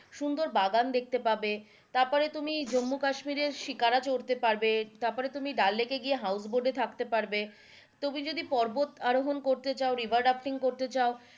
সুন্দর বাগান দেখতে পাবে তারপরে তুমি জম্মু কাশ্মীরের শিকারা চড়তে পারবে, তারপরে তুমি ডাল লেকে গিয়ে house boat থাকতে পারবে, তুমি যদি পর্বত আরোহন করতে চাও river রাফটিং করতে চাও,